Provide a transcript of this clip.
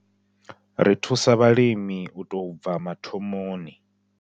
Ri thusa vhalimi u tou bva mathomoni.